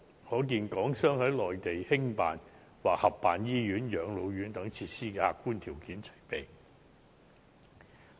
可見港商在內地興辦或合辦醫院、養老院等設施的客觀條件齊備。